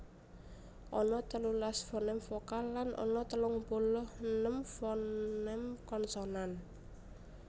Ana telulas foném vokal lan ana telung puluh enem foném konsonan